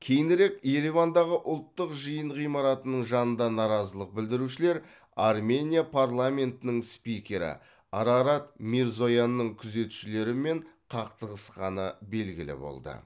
кейінірек еревандағы ұлттық жиын ғимаратының жанында наразылық білдірушілер армения парламентінің спикері арарат мирзоянның күзетшілерімен қақтығысқаны белгілі болды